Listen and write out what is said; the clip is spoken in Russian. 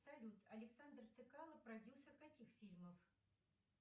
салют александр цекало продюсер каких фильмов